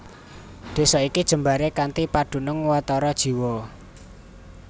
Desa iki jembaré kanthi padunung watara jiwa